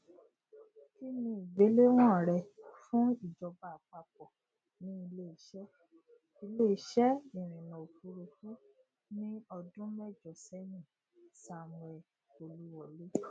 ki ni igbelewọn rẹ fun ijọba apapọ ni ileiṣẹ ileiṣẹ irinna ofurufu ni ọdun mẹjọ sẹyin samuel oluwole